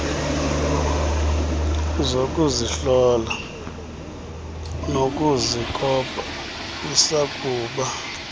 zokuzihlola nokuzikopa isakuba